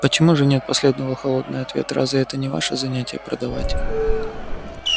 почему же нет последовал холодный ответ разве это не ваше занятие продавать